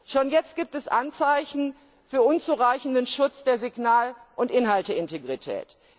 Schon jetzt gibt es Anzeichen für unzureichenden Schutz der Signal und Inhalteintegrität.